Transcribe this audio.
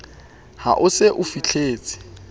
ha o se o fihletse